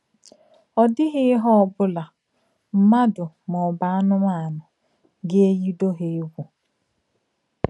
Ọ̀ dì̀ghí ìhè ọ̀bụ́là — mmádụ̀ mà ọ̀bù ànùmànù — gà-èyì ùdò hà ègwù.